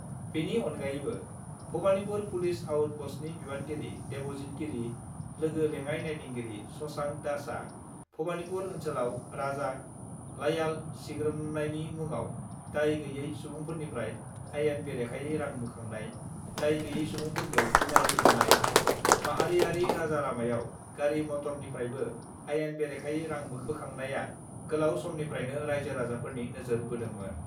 बेनि अनगायैबो भबानिपुर पुलिस आउट पस्टनि बिबानगिरि देबजित गिरि, लोगो लेङाइ नायदिंगिरि शशांक दासआ भबानिपुर ओन्सोलाव राजा लामायाव सिग्रोमनायनि मुङाव दाय गैयै सुबुंफोरनिफ्राय आयेन बेरेखायै रां बोखांनाय, दाय गैयें सुबुंफोरखौ इनायै बुनाय, माहारियारि राजा लामायाव गारि-मटरनिफ्रायबो आयेन बेरेखायै रां बोखांनाया गोलाव समनिफ्रायनो राइजो-राजाफोरनि नोजोर बोदोंमोन।